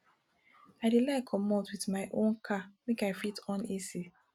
i dey like comot wit my own car make i fit on ac